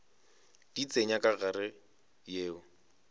di tsenya ka gare yeo